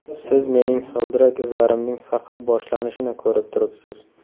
Siz mening g‘ildirak izlarimning faqat boshlanishini ko‘rib turibsiz.